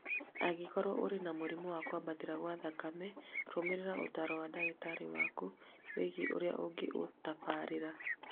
Angĩkorũo ũrĩ na mũrimũ wa kwambatĩra gwa thakame , rũmĩrĩra ũtaaro wa ndagĩtarĩ waku wĩgiĩ ũrĩa ũngĩũtabarĩra